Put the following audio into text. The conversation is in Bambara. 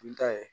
Dun ta ye